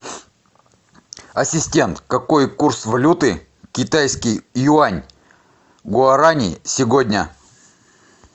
ассистент какой курс валюты китайский юань гуарани сегодня